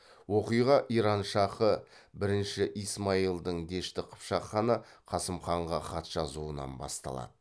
оқиға иран шахы бірінші исмаилдің дешті қыпшақ ханы қасым ханға хат жазуынан басталады